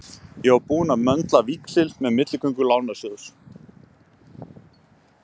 Ég var búinn að möndla víxil með milligöngu Lánasjóðsins.